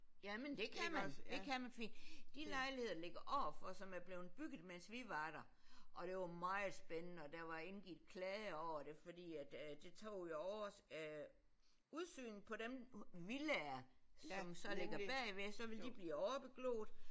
Jamen det kan man det kan man fordi de lejligheder der ligger overfor som er bleven bygget mens vi var der og det var meget spændende og der var indgik klager over det fordi at det tog jo over øh udsynet på dem villaer som så ligger bagved så ville de blive overbegloet